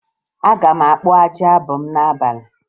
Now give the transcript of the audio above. Aga m akpụ ajị abụ m n'abalị